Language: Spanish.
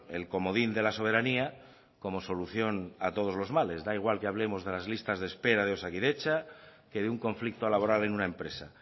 el comodín de la soberanía como solución a todos los males da igual que hablemos de las listas de espera de osakidetza que de un conflicto laboral en una empresa